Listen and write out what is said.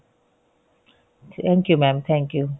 thank you mam thank you